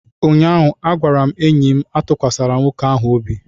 ụnyaahụ, a gwara m enyi m Atụkwasịla nwoke ahụ obi!